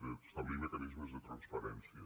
d’establir mecanismes de transparència